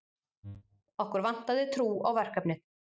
Okkur vantaði trú á verkefnið